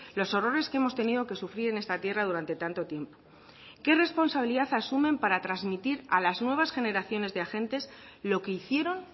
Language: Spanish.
los horrores que hemos tenido que sufrir en esta tierra durante tanto tiempo qué responsabilidad asumen para transmitir a las nuevas generaciones de agentes lo que hicieron